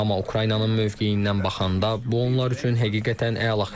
Amma Ukraynanın mövqeyindən baxanda, bu onlar üçün həqiqətən əla xəbərdir.